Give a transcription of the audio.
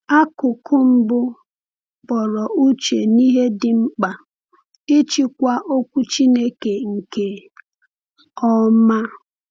Akụkụ mbụ kpọrọ uche n’ihe dị mkpa ịchịkwa Okwu Chineke nke ọma.